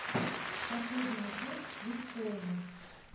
последняя часть свит хоума